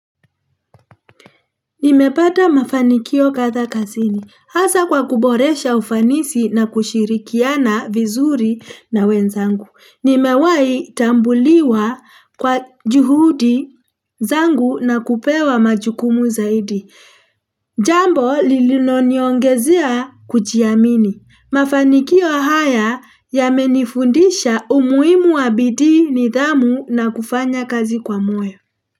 Nimepata mafanikio kadhaa kazini, hasa kwa kuboresha ufanisi na kushirikiana vizuri na wenzangu. Nimewahi tambuliwa kwa juhudi zangu na kupewa majukumu zaidi. Jambo lililoniongezia kujiamini. Mafanikio haya yamenifundisha umuhimu wa bidii nidhamu na kufanya kazi kwa moyo.